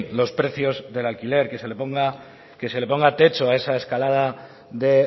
los precios del alquiler que se le ponga techo a esa escalada de